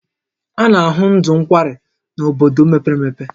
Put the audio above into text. A na ahụ ndụ nkwari n'bodo mepere emepe